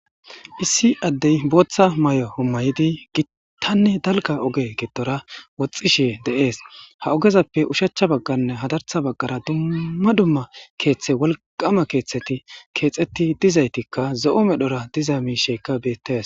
Issi addey booththa may'o hommayidi gittanne dalga oge gedora woxxishe de'ees ha ogezappe ushachcha bagganne hadartha baggara dumma dumma keeththe wolqama keeththeti keexetti dizaytikka zo'o medhora diza miishekka bettes